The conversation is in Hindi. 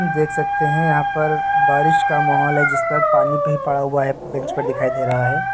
देख सकते हैं यहां पर बारिश का माहौल है जिस पर पानी भी पड़ा हुआ है बेंच पर दिखाई दे रहा है।